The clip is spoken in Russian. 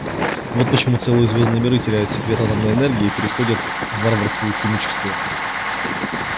вот почему целые звёздные миры теряют секрет атомной энергии и переходят в варварскую химическую